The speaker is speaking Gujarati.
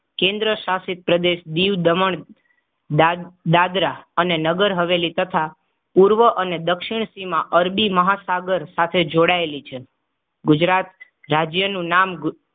કેન્દ્રશાસિત પ્રદેશ દિવ દમણદાદ દાદરા અને નગર હવેલી તથા પૂર્વ અને દક્ષિણ સીમા અરબી મહાસાગર પાસે જોડાયેલી છે. ગુજરાત રાજ્યનું નામ